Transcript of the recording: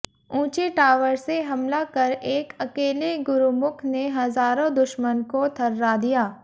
ऊँचे टावर से हमला कर एक अकेले गुरुमुख ने हज़ारों दुश्मन को थर्रा दिया